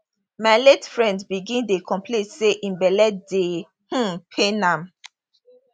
my late friend begin dey complain say im belle dey um pain am